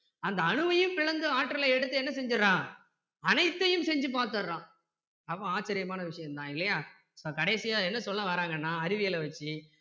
அந்த அணுவையும் பிளந்து ஆற்றலை எடுத்து என்ன செஞ்சிடுறான் அனைத்தையும் செஞ்சி பார்த்திடுறான்